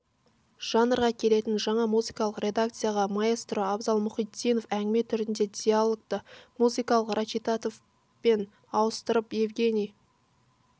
жанрға келетін жаңа музыкалық редакцияда маэстро абзал мұхитдинов әңгіме түріндегі диалогты музыкалық речитативпен ауыстырып евгений